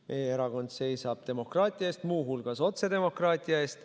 Meie erakond seisab demokraatia eest, muu hulgas otsedemokraatia eest.